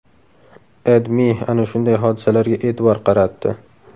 AdMe ana shunday hodisalarga e’tibor qaratdi .